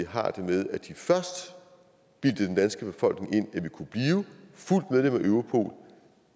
har det med at de først bildte den danske befolkning ind at vi kunne blive fuldt medlem af europol